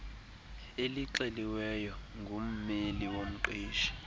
elixeliweyo ngummeli womqeshi